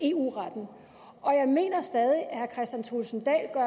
eu retten og jeg mener stadig